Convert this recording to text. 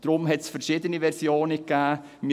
Deshalb hat es verschiedene Versionen gegeben.